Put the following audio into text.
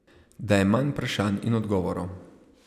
Da je manj vprašanj in odgovorov.